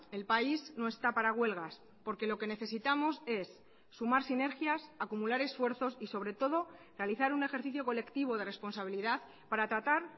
el país no está para huelgas porque lo que necesitamos es sumar sinergias acumular esfuerzos y sobre todo realizar un ejercicio colectivo de responsabilidad para tratar